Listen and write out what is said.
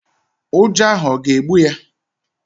Ụjọ ahụ ọ̀ ga-egbu ya?